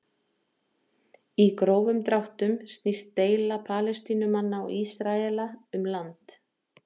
Í grófum dráttum snýst deila Palestínumanna og Ísraela um land.